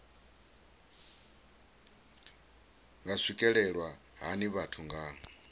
nga swikelelwa hani vhathu nga